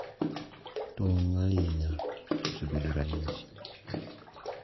Tong’, ahinya, osebedo ranyisi,